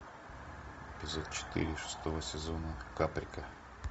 эпизод четыре шестого сезона паприка